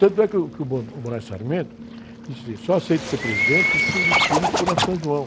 Tanto é que o, que o, o disse assim, só aceito ser presidente se o desfile for na São João.